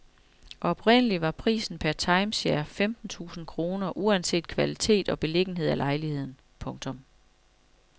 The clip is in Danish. Oprindelig var prisen per timeshare femten tusind kroner uanset kvalitet og beliggenhed af lejligheden. punktum